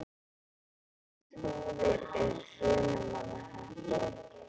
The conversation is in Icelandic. Flúðir er í Hrunamannahreppi.